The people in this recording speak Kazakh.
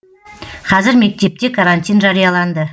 қазір мектепте карантин жарияланды